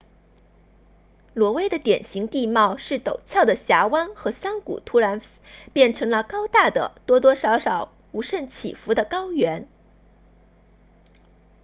挪威的典型地貌是陡峭的峡湾和山谷突然变成了高大的多多少少无甚起伏的高原